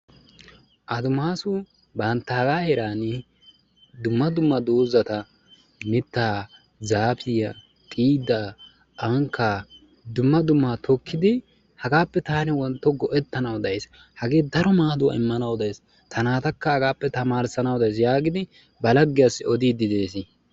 Adimasu banttaga heerani dumma dumma dozata mitta zaafiyaa xiida ankka dumma dumma tokkidi hagaappe taani wontto go'ettanawu deaysi, hagee daro maaduwaa immanawu de'ees; ta naatakka hagaappe tamarissanawu deaysi yaagidi ba laggiyasi odidi de'ees.